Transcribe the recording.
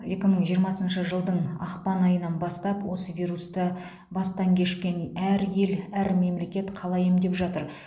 екі мың жиырмасыншы жылдың ақпан айынан бастап осы вирусты бастан кешкен әр ел әр мемлекет қалай емдеп жатыр